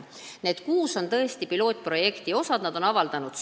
Need kuus omavalitsust on tõesti pilootprojekti osalised, nad on soovi avaldanud.